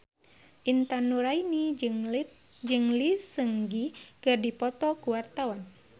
Intan Nuraini jeung Lee Seung Gi keur dipoto ku wartawan